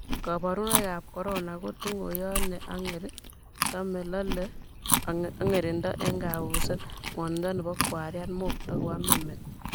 kaborunoikab korono ko tunguyot ne ang'er , tame,, lole, ang'erindo eng' kambuset, ng'wonindo nebo kwariat, mokto, koamin met ak mang'dae